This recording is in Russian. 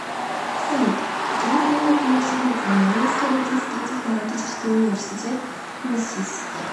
салют какие премии получил национальный исследовательский технологический университет мисис